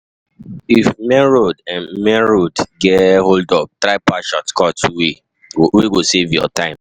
If main road get hold-up, try pass shortcut wey go save you time.